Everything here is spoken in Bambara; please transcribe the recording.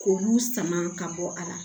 K'olu sama ka bɔ a la